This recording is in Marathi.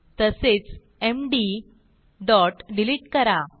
तसेच एमडी डॉट डिलिट करा